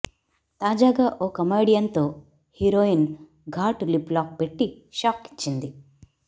తాజాగా ఓ కమెడియన్ తో హీరోయిన్ ఘాటు లిప్ లాక్ పెట్టి షాక్ ఇచ్చింది